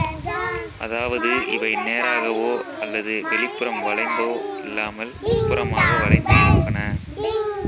அதாவது இவை நேராகவோ அல்லது வெளிப்புறம் வளைந்தோ இல்லாமல் உட்புறமாக வளைந்து இருப்பன